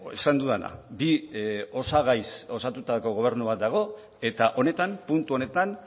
esan dudana bi osagaiz osatutako gobernu bat dago eta honetan puntu honetan